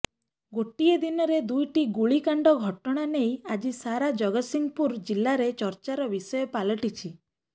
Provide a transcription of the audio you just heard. ଗୋଟିଏ ଦିନରେ ଦୁଇଟି ଗୁଳିକାଣ୍ଡ ଘଟଣା ନେଇ ଆଜି ସାରା ଜଗତ୍ସିଂହପୁର ଜିଲ୍ଲାରେ ଚର୍ଚ୍ଚାର ବିଷୟ ପାଲଟିଛି